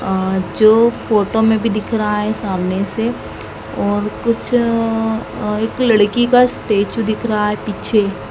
अ जो फोटो में भी दिख रहा है सामने से और कुछ अ एक लड़की का स्टेचू दिख रहा है पीछे।